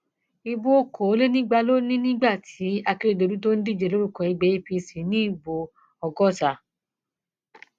ibo okòólénígba ló ní nígbà tí akérèdọlù tó ń díje lórúkọ ẹgbẹ apc ní ìbò ọgọta